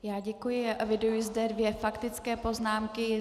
Já děkuji a eviduji zde dvě faktické poznámky.